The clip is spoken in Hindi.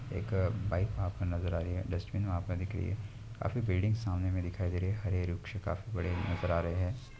एक बाइक वहा पर नज़र आ रही है डस्ट्बिन वह पर दिख रही है काफी बिल्डिंग सामनेमे दिखाई दे रहे है हरे हरे वृक्ष काफी बड़े नज़र आ रहे है।